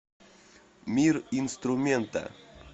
мир инструмента